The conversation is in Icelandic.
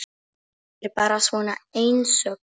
Ég er bara svona einsog.